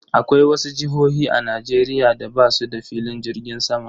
Akwai wasu jihohi a Najeriya da basuda filin jirgin sama